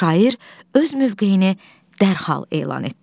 Şair öz mövqeyini dərhal elan etdi.